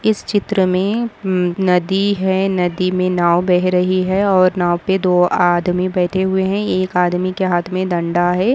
इस चित्र मे हम्म नदी है नदी मे नाव बेह रही है और नाव पे दो आदमी बैठे हुए है एक आदमी के हात मे डंडा है।